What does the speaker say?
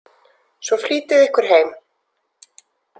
Svo flýtiði ykkur heim.